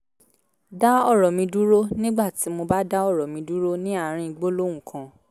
dá ọ̀rọ̀ mi dúró nígbà tí mo dá ọ̀rọ̀ mi dúró ní àárín gbólóhùn kan